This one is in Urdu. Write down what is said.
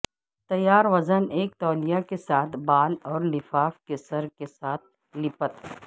تیار وزن ایک تولیہ کے ساتھ بال اور لفاف کے سر کے ساتھ لیپت